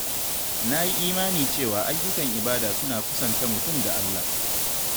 Na yi imani cewa ayyukan ibada suna kusanta mutum da Allah.